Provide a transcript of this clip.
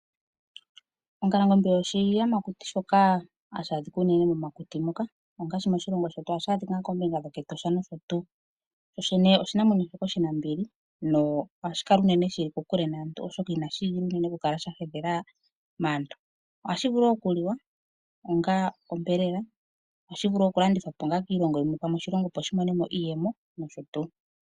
Ongalangombe oshiyamakuti shoka hashi adhika unene momakuti moka, ongaashi moshilongo shetu ohashi adhika ngaa koombinga dhokEtosha nosho tuu. Shoshene oshinamwenyo shoka oshinambili nohashi kala unene shili kokule naantu, oshoka inashi igilila unene oku kala sha hedhela maantu. Ohashi vulu oku liwa onga onyama. Ohashi vulu oku landithwa po ongaa kiilongo yimwe, pamwe oshilongo opo shi mone mo iiyemo nosho tuu.